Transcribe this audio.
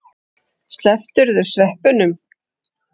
Slepptirðu sveppunum?